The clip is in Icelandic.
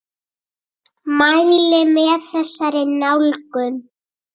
Mæli með þessari nálgun!